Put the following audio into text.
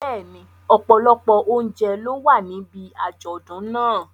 Bẹ́ẹ̀ni, ọ̀pọ̀lọpọ̀ oúnjẹ ló wà níbi àjọ̀dún náà.